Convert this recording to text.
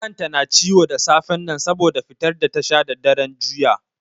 Kan ta na ciwo da safen nan saboda fitar da ta sha da daren juya.